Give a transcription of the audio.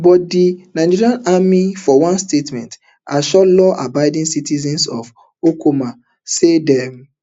but di nigerian army for one statement assure lawabiding citizens of okuama say dem